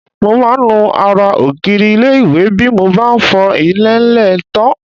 Mo máa ń nu ara ògiri ilé-ìwẹ̀ bí mo bá fọ ilẹ̀ńlẹ̀ tán